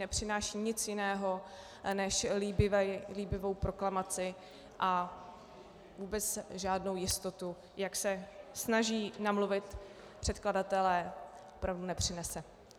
Nepřináší nic jiného než líbivou proklamaci a vůbec žádnou jistotu, jak se snaží namluvit předkladatelé, opravdu nepřinese.